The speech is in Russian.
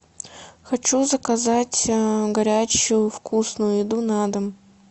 хочу заказать горячую вкусную еду на дом